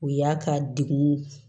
O y'a ka degun